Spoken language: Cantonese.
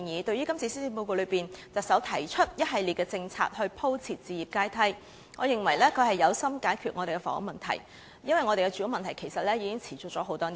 對於特首今次在施政報告中提出一系列政策以鋪設置業階梯，我認為特首有心解決香港的房屋問題，因為我們的住屋問題已經持續多年。